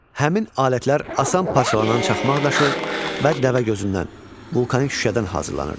Həmin alətlər asan parçalanan çaxmaq daşı və dəvəgözündən, vulkanik şüşədən hazırlanırdı.